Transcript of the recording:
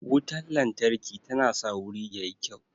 Wutan lantarki tana sa wuri yayi kyau